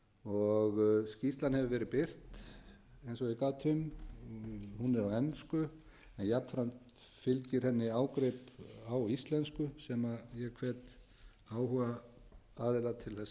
og ég gat um hún er á ensku en jafnframt fylgir henni ágrip á íslensku sem ég hvet áhugaaðila til þess að kynna